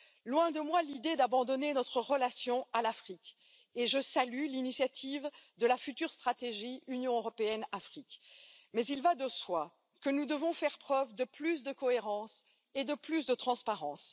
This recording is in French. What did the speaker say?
Loin de moi l'idée d'abandonner notre relation à l'Afrique, et je salue l'initiative de la future stratégie Union européenne Afrique, mais il va de soi que nous devons faire preuve de plus de cohérence et de plus de transparence.